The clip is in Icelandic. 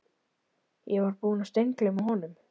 Ég var búinn að steingleyma honum